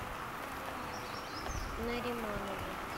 нариманову